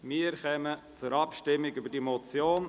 Wir kommen zur Abstimmung über diese Motion.